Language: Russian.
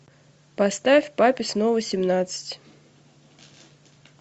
поставь папе снова семнадцать